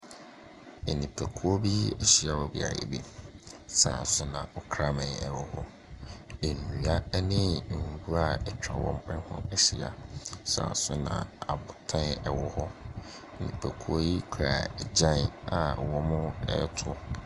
Nipakuo bi ahyia wɔ beaeɛ bi. Saa ara nso na ɔkraman wɔ hɔ. Nnua ne nwira atwa wɔn . Ahyia. Saa ara nso na abotan wɔ hɔ. Nipakuo no kura agyan a wɔreto.